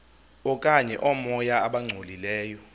okanye oomoya abangcolileyo